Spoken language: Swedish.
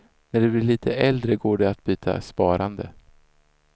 När du blir lite äldre går det att byta sparande.